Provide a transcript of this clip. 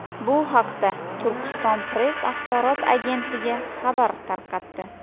Bu haqda Turkiston-press axborot agentligi xabar tarqatdi .